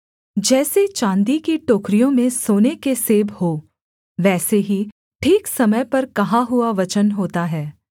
जैसे चाँदी की टोकरियों में सोने के सेब हों वैसे ही ठीक समय पर कहा हुआ वचन होता है